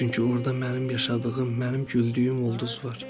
Çünki orda mənim yaşadığım, mənim güldüyüm ulduz var.